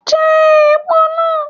Je èpo náà